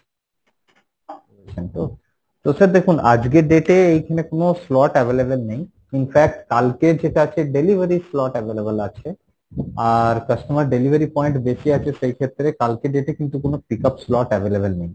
রয়েছেন তো, তো sir দেখুন আজকের date এ এইখানে কোনো slot available নেই, in fact কালকের যেটা আছে delivery slot available আছে, আর customer delivery point বেশি আছে সেই ক্ষেত্রে কালকের date এ কিন্তু কোনো pick up slot available নেই